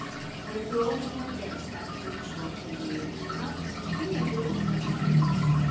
Með blóðinu berast efnin svo til nýrna sem skilja þau út með þvagi.